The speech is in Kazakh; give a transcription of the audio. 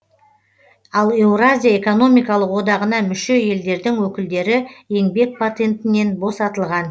ал еуразия экономикалық одағына мүше елдердің өкілдері еңбек патентінен босатылған